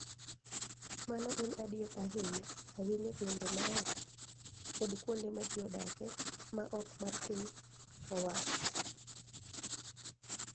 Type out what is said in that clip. Mano en adier ahinya ahinya e gwenge ma oko kod kuonde ma ji odake ma ok mar piny owacho.